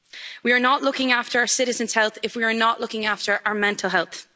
We are not looking after our citizens' health if we are not looking after our mental health.